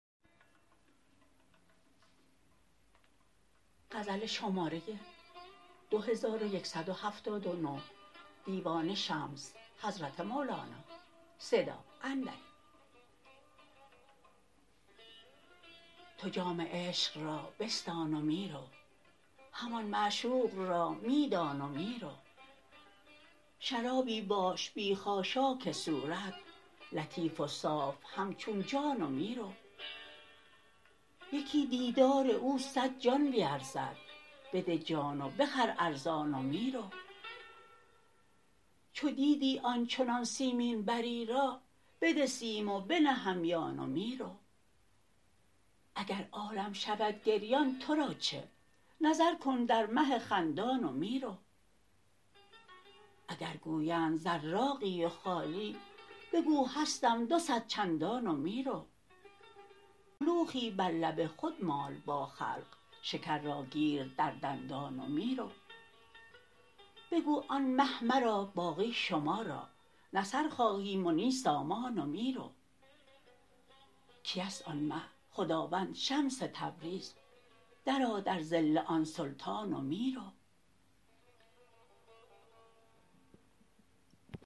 تو جام عشق را بستان و می رو همان معشوق را می دان و می رو شرابی باش بی خاشاک صورت لطیف و صاف همچون جان و می رو یکی دیدار او صد جان به ارزد بده جان و بخر ارزان و می رو چو دیدی آن چنان سیمین بری را بده سیم و بنه همیان و می رو اگر عالم شود گریان تو را چه نظر کن در مه خندان و می رو اگر گویند زراقی و خالی بگو هستم دوصد چندان و می رو کلوخی بر لب خود مال با خلق شکر را گیر در دندان و می رو بگو آن مه مرا باقی شما را نه سر خواهیم و نی سامان و می رو کی است آن مه خداوند شمس تبریز درآ در ظل آن سلطان و می رو